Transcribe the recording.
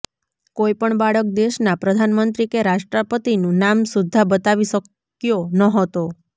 કોઈ પણ બાળક દેશના પ્રધાનમંત્રી કે રાષ્ટ્રપતિનુ નામ સુદ્ધા બતાવી શક્યો નહોતો